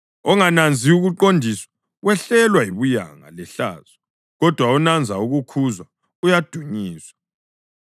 Ongananzi ukuqondiswa wehlelwa yibuyanga lehlazo, kodwa onanza ukukhuzwa uyadunyiswa.